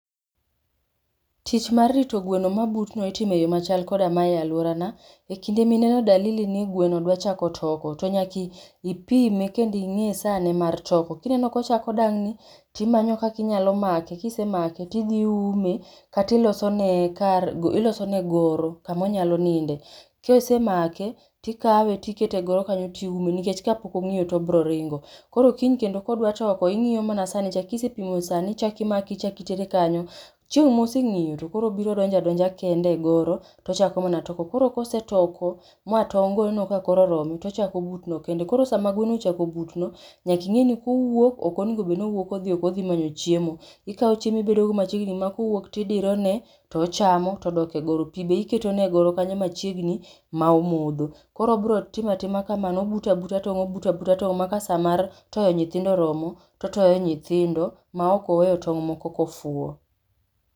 Tich mar rito gweno mabutno itimo e yo machal koda mae e alworana. E kinde mineno dalili ni gweno dwa chako toko to nyaka ipime kendo ing'i sane mar toko. Kineno kochako dang'ni, timanyo kaka inyalo make. Kisemake tidhi iume, kata iloso ne kar, iloso ne goro, kama onyalo ninde. Kisemake, tikawe tikete e goro kanyo tiume nikech ka pok ong'iyo tobiro ringo. Koro kiny kendo kodwa toko, ing'iyo mana sa ne cha. Kisepimo sa ne ichak imake ichak itere kanyo. Chieng' moseng'iyo to koro obiro donjo adonja kende e goro tochako toko. Koro kosetoko ma tong' go oneno ka koro oromo, tochako butno kende. Koro sama gweno ochako butno, nyaka ing'eni kowuok ok onego bed ni owuok odhi oko odhi manyo chiemo. Ikao chiemo ibedo go machiegni ma kowuok tidirone, tochamo to odok e goro. Pi be iketo ne e goro kanyo machiegni ma omodho. Koro obiro timo atima kamano, obuto abuta tong', obuto abuta tong' ma ka sa mar toyo nyithindo oromo, to otoyo nyithindo ma ok oweyo tong' moko ka ofuo.